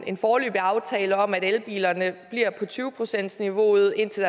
en foreløbig aftale om at elbilerne bliver på tyve procentsniveauet indtil